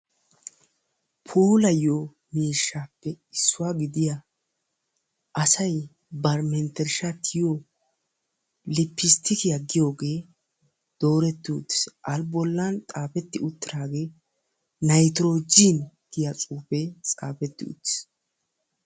Puulayiyo miishshappe issuwa gidiya asay bari mentershaa tiyiyo lippisttikkiya giyogee dooreti uttiis. A bollan xaafeti uttiraagee nitrojen giya xuufee xaafeti uttiis